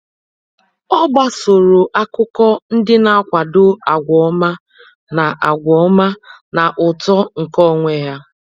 Ọ́ gbàsòrò ákụ́kọ́ ndị nà-àkwàdò àgwà ọma na àgwà ọma na uto nke onwe ya.